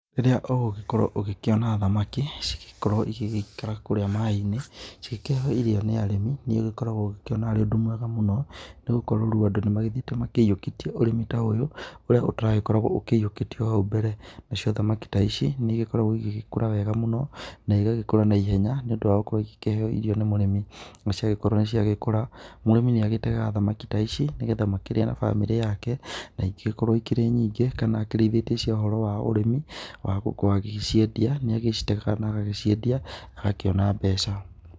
Rĩrĩa ũgĩkorwo ũgĩkĩona thamaki cigĩkorwo igĩikara kũrĩa maĩinĩ cikĩragwo irio nĩ arĩmi nĩ ũkoragwo ũrĩ ũndũ mwega mũno nĩgũkorwo rĩũ andũ nĩmathiĩte meũkĩtie ũrĩmi ta ũyũ ũrĩa ũtaragĩkoragwo ũyũikĩtie hau mbere nacio thamaki ta ici nĩikoragwo igĩkũra wega mũno na igagĩkũra na ihenya nĩũndũ wagũkorwo makĩheũ irio nĩ mũrĩmi nacio angĩkorwo nĩciagĩkũra, mũrĩmi nĩagĩtegaga thamaki ta ici nĩgetha makĩria na bamĩrĩ yake na ingĩkorwo cirĩ nyingĩ kana akĩrĩithĩtie cia ũhoro wa ũrĩmi wa gũciendia nĩacitegaga na agaciendia na akona mbeca.